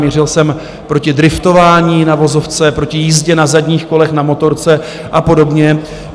Mířil jsem proti driftování na vozovce, proti jízdě na zadních kolech na motorce a podobně.